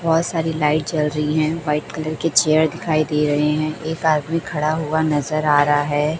बोहोत सारी लाइट जल रही है व्हाइट कलर के चेयर दिखाई दे रहे है एक आदमी खड़ा हुआ नजर आ रहा हैं।